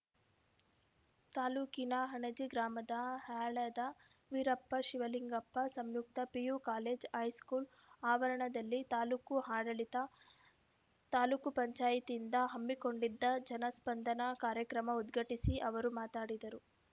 ತಾಲೂಕಿನ ಅಣಜಿ ಗ್ರಾಮದ ಹ್ಯಾಳದ ವೀರಪ್ಪ ಶಿವಲಿಂಗಪ್ಪ ಸಂಯುಕ್ತ ಪಿಯು ಕಾಲೇಜು ಹೈಸ್ಕೂಲ್‌ ಆವರಣದಲ್ಲಿ ತಾಲೂಕು ಆಡಳಿತ ತಾಲೂಕ್ ಪಂಚಾಯತ್ಯಿಂದ ಹಮ್ಮಿಕೊಂಡಿದ್ದ ಜನ ಸ್ಪಂದನ ಕಾರ್ಯಕ್ರಮ ಉದ್ಘಾಟಿಸಿ ಅವರು ಮಾತಾಡಿದರು